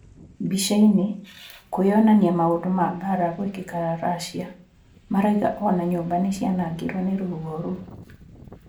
Mbica-ini: kwĩyonania maũndũ ma mbaara gũĩkĩka Russia. Marauga o na nyũmba nĩ cianangirũo nĩ rũhuho rũu.